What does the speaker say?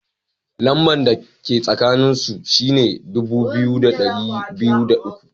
Lamba da ka tsakanin su shine dubu biyu da dari biyu da uku.